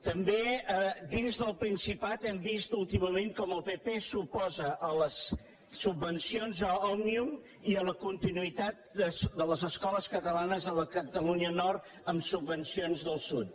també dins del principat hem vist últimament com el pp s’oposa a les subvencions a òmnium i a la continuïtat de les escoles catalanes a la catalunya nord amb subvencions del sud